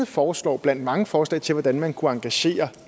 foreslår blandt mange forslag til hvordan man kan engagere